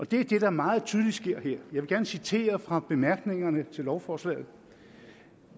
det er det der meget tydeligt sker her vil gerne citere fra bemærkningerne til lovforslaget